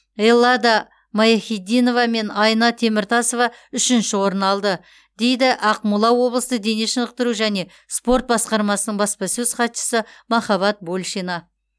эллада майяхиддинова мен айна теміртасова үшінші орын алды дейді ақмола облыстық дене шынықтыру және спорт басқармасының баспасөз хатшысы махаббат большина